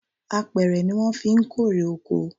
Apẹ̀rẹ̀ ni wọn fí ń kórè oko